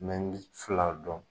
n bɛ fila dɔn